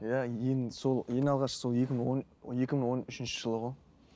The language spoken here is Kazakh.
иә ең сол ең алғаш сол екі мың он екі мың он үшінші жылы ғой